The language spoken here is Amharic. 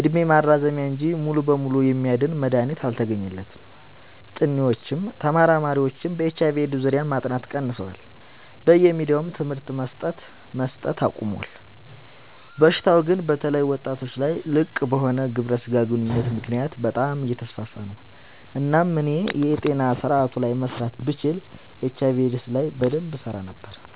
እድሜ ማራዘሚያ እንጂ ሙሉ በሙሉ የሚያድን መድሀኒት አልተገኘለትም ጥኒዎችም ተመራማሪዎችም በኤች/አይ/ቪ ኤድስ ዙሪያ ማጥናት ቀንሰዋል በየሚዲያውም ትምህርት መሰት አቆሞል። በሽታው ግን በተለይ ወጣቶች ላይ ልቅበሆነ ግብረ ስጋ ግንኙነት ምክንያት በጣም አየተስፋፋ ነው። እናም እኔ የጤና ስረአቱ ላይ መስራት ብችል ኤች/አይ/ቪ ኤድስ ላይ በደንብ እሰራ ነበር።